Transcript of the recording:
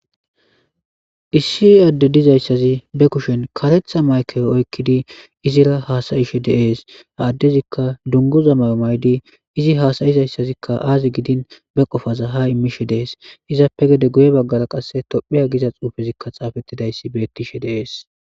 Issi adde dizayssazi be kushen katetha maykewo oykkidi izira haasayishe deees ha addezikka dungozamayo maydi izi haasayizayssazikka aazi gidin be qofaza ha immishe dees izappe gede guye baggara qasse tophiya giza xuufezikka xaafettidayssi bettishe deees.